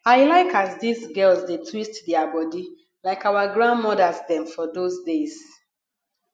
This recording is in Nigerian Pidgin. i like as dese girls dey twist their body like our grandmothers dem for dose days